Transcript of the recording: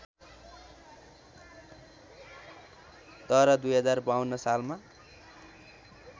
तर २०५२ सालमा